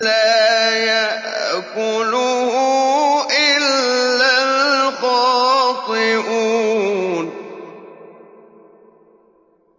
لَّا يَأْكُلُهُ إِلَّا الْخَاطِئُونَ